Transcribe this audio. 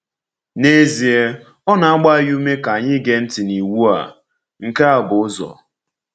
N’ezie, ọ na-agba anyị ume ka anyị gee ntị n’iwu a: “Nke a bụ ụzọ.”